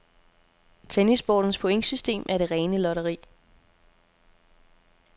Tennissportens pointsystem er det rene lotteri.